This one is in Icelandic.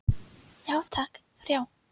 Já takk, þrjá.